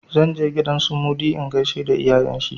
Zan je gidan su Mudi in gaishe da iyayen shi.